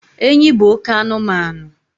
enyi bụ oke anụmanụ